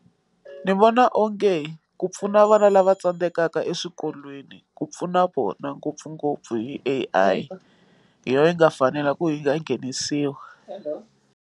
Ni vona onge ku pfuna vana lava tsandzekaka eswikolweni ku pfuna vona ngopfungopfu hi A_I hi yona yi nga fanela ku yi nga nghenisiwa.